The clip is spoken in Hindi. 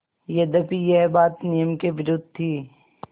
यद्यपि यह बात नियम के विरुद्ध थी